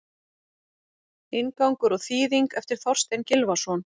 Inngangur og þýðing eftir Þorstein Gylfason.